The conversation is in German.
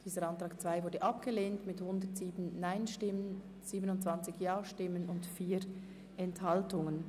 Dieser Abänderungsantrag ist abgelehnt worden mit 27 Ja- zu 107 Nein-Stimmen bei 4 Enthaltungen.